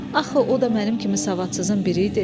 Axı o da mənim kimi savadsızın biri idi.